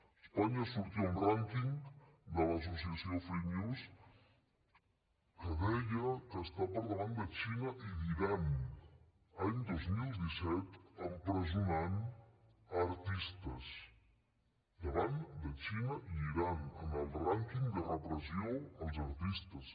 a espanya sortia un rànquing de l’associació freemuse que deia que està per davant de la xina i d’iran any dos mil disset empresonant artistes davant de la xina i d’iran en el rànquing de repressió als artistes